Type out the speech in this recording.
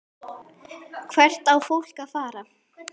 Hvert á fólk að fara?